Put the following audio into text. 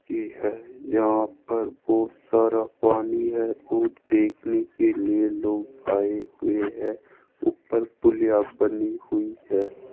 की है यहां पर बहुत सारा पानी है और देखने के लिए लोग आए हुए हैं ऊपर पुलिया बनी हुई है।